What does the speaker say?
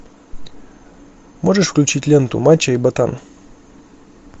можешь включить ленту мачо и ботан